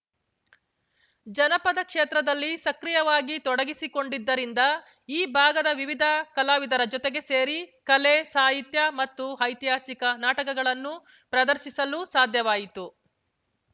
ಜನಪದ ಕ್ಷೇತ್ರದಲ್ಲಿ ಸಕ್ರಿಯವಾಗಿ ತೊಡಗಿಸಿಕೊಂಡಿದ್ದರಿಂದ ಈ ಭಾಗದ ವಿವಿಧ ಕಲಾವಿದರ ಜೊತೆಗೆ ಸೇರಿ ಕಲೆ ಸಾಹಿತ್ಯ ಮತ್ತು ಐತಿಹಾಸಿಕ ನಾಟಕಗಳನ್ನು ಪ್ರದರ್ಶಿಸಲು ಸಾಧ್ಯವಾಯಿತು